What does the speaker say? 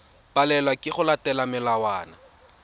palelwa ke go latela melawana